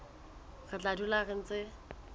re tla dula re ntse